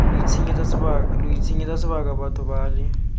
lo itshenyetsa sebaka batho bale